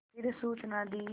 फिर सूचना दी